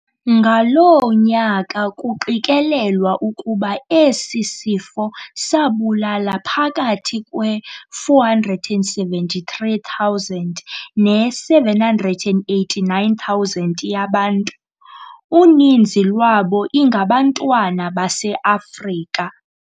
ngaloo nyaka kuqikelelwa ukuba esi sifo sabulala phakathi kwe-473,000 ne-789,000 yabantu, uninzi lwabo ingabantwana baseAfrika.